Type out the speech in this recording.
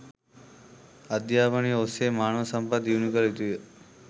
අධ්‍යාපනය ඔස්සේ මානව සම්පත් දියුණු කළ යුතුය.